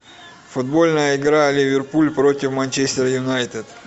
футбольная игра ливерпуль против манчестер юнайтед